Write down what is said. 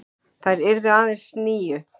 Þær yrðu aðeins níu.